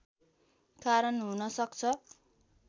कारण हुन सक्छ